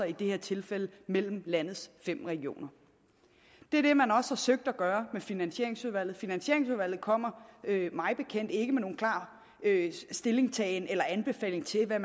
i det her tilfælde mellem landets fem regioner det er det man også har forsøgt at gøre i finansieringsudvalget finansieringsudvalget kommer mig bekendt ikke med nogen klar stillingtagen eller anbefaling til hvad